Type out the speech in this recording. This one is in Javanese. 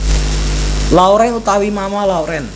Lauren utawi Mama Lauren